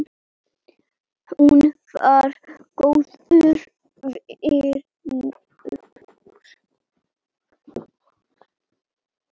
Hún var góður vinur.